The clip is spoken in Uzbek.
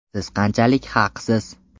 Siz qanchalik haqsiz?